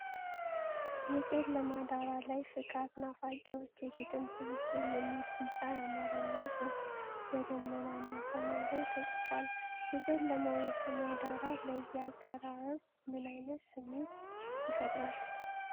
የጨለመ ዳራ ላይ “ፍካት ናፋቂዎች የግጥም ስብስብ” የሚል ቢጫ የአማርኛ ጽሑፍ በደመናማ ሰማይ ላይ ተጽፏል። የጨለመው የሰማይ ዳራ ለዚህ አቀራረብ ምን ዓይነት ስሜት ይፈጥራል?